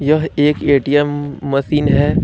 यह एक ATM machine है।